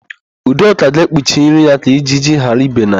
Udoka ga-ekpuchi nri ya ka ijiji ghara ibe na ya.